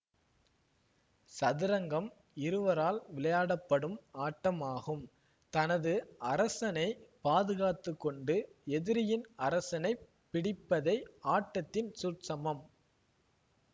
சதுரங்கம் இருவரால் விளையாட படும் ஆட்டமாகும் தனது அரசனை பாதுகாத்துக்கொண்டு எதிரியின் அரசனைப் பிடிப்பதே ஆட்டத்தின் சூட்சமம்